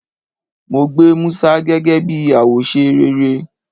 Mo gba Musa gege bi awose rere